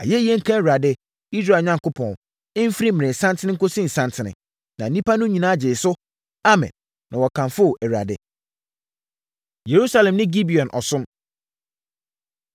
Ayɛyie nka Awurade, Israel Onyankopɔn, ɛmfiri mmerɛsanten nkɔsi nnasanten. Na nnipa no nyinaa gyee so sɛ, “Amen!” Na wɔkamfoo Awurade. Yerusalem Ne Gibeon Ɔsom